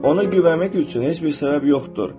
Ona güvənmək üçün heç bir səbəb yoxdur.